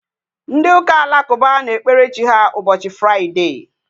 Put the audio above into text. Ndị ụka alakụba na-ekpere Chi ha ụbọchị Fraịdee